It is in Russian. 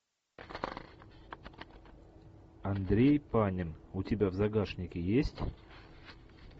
андрей панин у тебя в загашнике есть